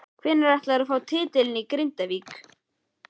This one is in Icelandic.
Hvenær ætlarðu að fá titilinn í Grindavík?